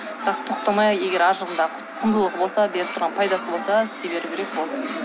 бірақ тоқтамай егер арғы жағында құндылығы болса беріп тұрған пайдасы болса істей беру керек болды